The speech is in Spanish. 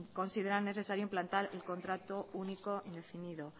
consideran necesario implantar el contrato único indefinido